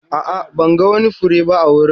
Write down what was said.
A'a, ban ga wani fure ba a wurin.